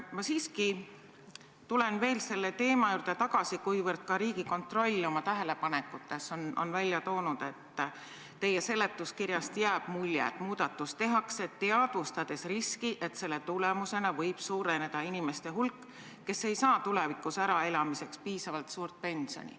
Ma siiski tulen selle teema juurde veel tagasi, kuivõrd ka Riigikontroll on oma tähelepanekutes välja toonud, et teie seletuskirjast jääb mulje, et muudatus tehakse, teadvustades riski, et selle tulemusel võib suureneda nende inimeste hulk, kes ei saa tulevikus äraelamiseks piisavalt suurt pensioni.